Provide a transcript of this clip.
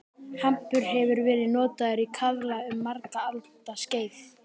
Hampur hefur verið notaður í kaðla um margra alda skeið.